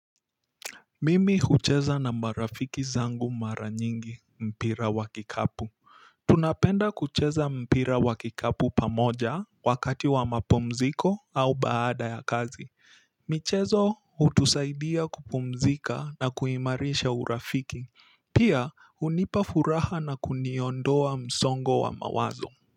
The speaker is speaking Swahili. Mimi kucheza na marafiki zangu, mara nyingi mpira wa kikapu. Tunapenda kucheza mpira wa kikapu pamoja, wakati wa mapumziko, au baada ya kazi. Michezo, hutusaidia kupumzika, na kuimarisha urafiki. Pia, hunipa furaha na kuniondoa msongo wa mawazo.